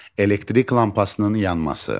Elektrik lampasının yanması.